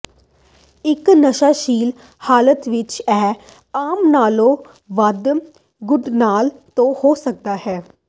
ਇੱਕ ਨਸ਼ਾਸ਼ੀਲ ਹਾਲਤ ਵਿੱਚ ਇਹ ਆਮ ਨਾਲੋਂ ਵੱਧ ਗੁੰਝਲਦਾਰ ਹੋ ਸਕਦਾ ਹੈ